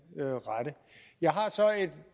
rette jeg har så et